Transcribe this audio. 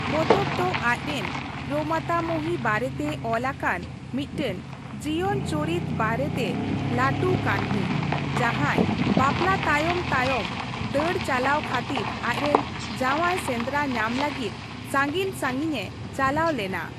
ᱯᱚᱛᱚᱵ ᱫᱚ ᱟᱪᱨᱮᱱ ᱯᱨᱚᱢᱟᱛᱟᱢᱚᱦᱤ ᱵᱟᱨᱮᱛᱮ ᱚᱞᱟᱠᱟᱱ ᱢᱤᱫᱴᱮᱱ ᱡᱤᱭᱚᱱ ᱪᱩᱨᱤᱛ ᱵᱟᱨᱮᱛᱮ ᱞᱟᱹᱴᱩ ᱠᱟᱹᱦᱱᱤ, ᱡᱟᱦᱟᱸᱭ ᱵᱟᱯᱞᱟ ᱛᱟᱭᱚᱢ ᱛᱟᱭᱚᱢ ᱫᱟᱹᱲ ᱪᱟᱞᱟᱣ ᱠᱷᱟᱹᱛᱤᱨ ᱟᱪᱨᱮᱱ ᱡᱟᱶᱟᱭ ᱥᱮᱸᱫᱨᱟ ᱧᱟᱢ ᱞᱟᱹᱜᱤᱫ ᱥᱟᱸᱜᱤᱧᱼᱥᱟᱸᱜᱤᱧ ᱮ ᱪᱟᱞᱟᱣ ᱞᱮᱱᱟ ᱾